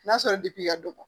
N'a sɔrɔ i ka dɔgɔ